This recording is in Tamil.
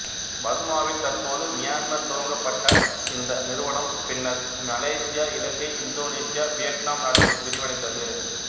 பர்மாவில் தற்போது மியான்மர் துவங்கப்பட்ட இந்த நிறுவனம் பின்னர் மலேசியா இலங்கை இந்தோனேசியா வியட்நாம் நாடுகளில் விரிவடைந்தது